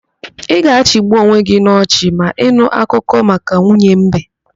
Ị ga-achịgbu onwe gị n'ochị ma ị nụ akụkọ maka nwunye mbe.